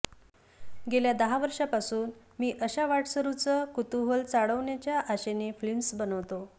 गेल्या दहा वर्षांपासून मी अशा वाटसरूंचं कुतूहल चाळवण्याच्या आशेने फिल्म्स बनवतो